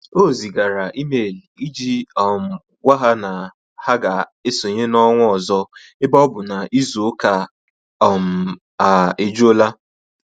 O zigara email iji um gwa ha na ha ga-esonye n'ọnwa ọzọ ebe ọ bụ na izu ụka um a ejula